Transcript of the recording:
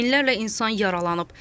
Minlərlə insan yaralanıb.